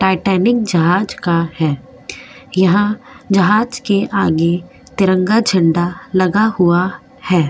Titanic जहाज का है यहां जहाज के आगे तिरंगा झंडा लगा हुआ है।